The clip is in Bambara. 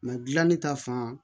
dilan ne ta fan